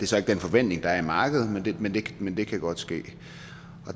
så ikke den forventning der er i markedet men det kan godt ske